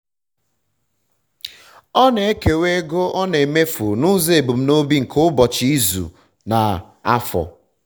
ọ na-ekewa ego ọ na-emefụ n'ụzọ ebumnobi nke ụbochị ịzu na-afọ